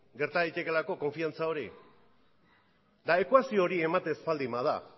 gerta daitekeelako konfidantza hori eta ekuazio hori ematen ez baldin bada